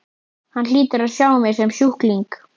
Hann hlýtur að sjá mig sem sjúkling.